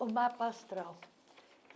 O mapa astral.